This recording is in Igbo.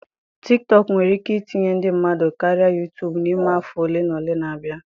Tiktọk nwere ike itinye ndị mmadụ karịa Yutubu n'ime afọ ole na ole na-abịa.